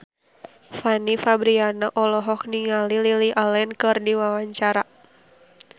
Fanny Fabriana olohok ningali Lily Allen keur diwawancara